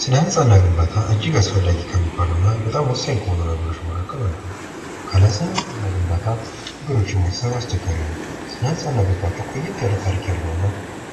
ስነ ህንጻ እና ግናባታ እጅግ አስፈላጊ ከሚባሉ እና በጣም ወሳኝ ከሆኑ ነገሮች መካከል አንዱ ነው። ካለ ስነ-ህንጻ እና ግንባት ነገሮችን ማሰብ ከባድ ነው። ስነ ህንጻ እና ግንባት ቆዬት ያለ ታሪክ ያለውን እና